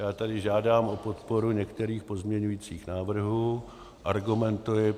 Já tady žádám o podporu některých pozměňovacích návrhů, argumentuji.